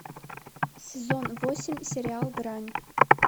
сезон восемь сериал грань